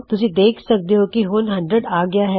ਤੁਸੀਂ ਦੇਖ ਸਕਦੇ ਹੋਂ ਕੀ ਉਹ 100 ਤੱਕ ਆ ਗੀਆ ਹੈ